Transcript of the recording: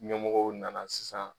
Ɲɛmɔgɔw nana sisan.